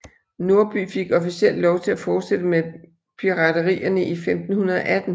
Norby fik officielt lov til at fortsætte med piraterierne i 1518